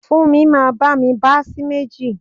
Funmi máa bá mi bá sì méjì.